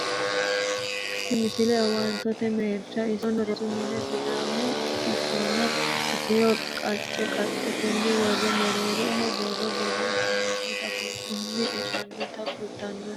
tini misile owaantete merersha isono rosu mine sidaamu sicconna itiyophiyu sicco qacce qaccete worre mereeroho borro borreesinoonnita kulannoho mannuno e"anninna fulanni no